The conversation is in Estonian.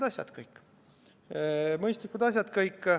Aga muidu on kõik mõistlikud asjad.